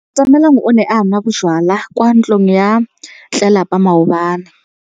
Atamelang o ne a nwa bojwala kwa ntlong ya tlelapa maobane.